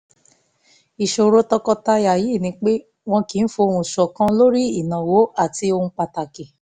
ìṣòro tọkọtaya yìí ni pé wọn kì í fohùn ṣọ̀kan lórí ìnáwó àti ohun pàtàkì